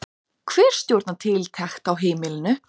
Hver stjórnar tiltekt á heimilinu?